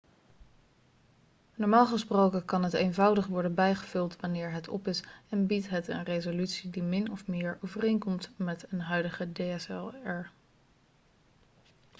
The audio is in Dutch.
normaal gesproken kan het eenvoudig worden bijgevuld wanneer het op is en biedt het een resolutie die min of meer overeenkomt met een huidige dslr